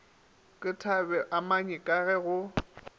ke thabeamanyi ka ge go